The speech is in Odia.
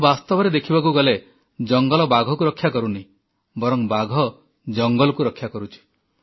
ତେଣୁ ବାସ୍ତବରେ ଦେଖିବାକୁ ଗଲେ ଜଙ୍ଗଲ ବାଘକୁ ରକ୍ଷା କରୁନି ବରଂ ବାଘ ଜଙ୍ଗଲକୁ ରକ୍ଷା କରୁଛି